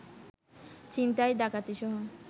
ছিনতাই, ডাকাতিসহ